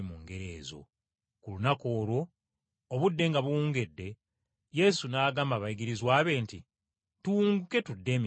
Ku lunaku olwo obudde nga buwungedde Yesu n’agamba abayigirizwa be nti, “Tuwunguke tulage emitala.”